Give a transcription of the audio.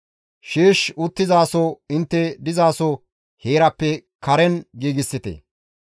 Sheesh uttizaso intte dizaso heerappe karen giigsite.